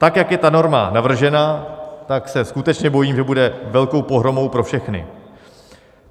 Tak jak je ta norma navržena, tak se skutečně bojím, že bude velkou pohromou pro všechny.